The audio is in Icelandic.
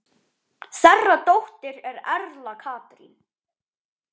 Þeirra dóttir er Erla Katrín.